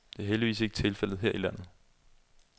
Det er heldigvis ikke tilfældet her i landet.